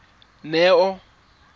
neo